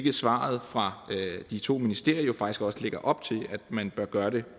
svaret fra de to ministerier jo faktisk også op til at man bør gøre det